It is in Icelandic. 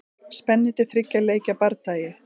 Spennandi þriggja leikja bardagi.